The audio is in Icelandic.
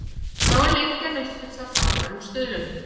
Þá er Lengjan uppfull af frábærum stuðlum.